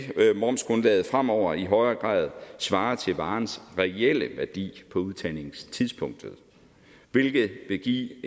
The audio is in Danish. momsgrundlaget fremover i højere grad svare til varens reelle værdi på udtagningstidspunktet hvilket vil give